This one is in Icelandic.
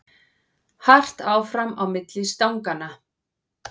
Hart áfram á milli stanganna